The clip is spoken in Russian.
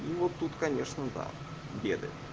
но вот тут конечно да гены